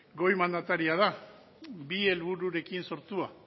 goi mandataria da bi helbururekin sortua